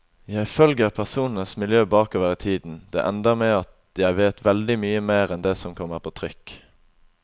Jeg følger personenes miljø bakover i tiden, det ender med at jeg vet veldig mye mer enn det som kommer på trykk.